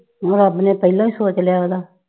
ਹੋਰ ਰੱਬ ਨੇ ਪਹਿਲਾਂ ਈ ਸੋਚ ਲਿਆ ਉਹਦਾ।